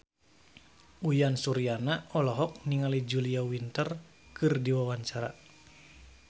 Uyan Suryana olohok ningali Julia Winter keur diwawancara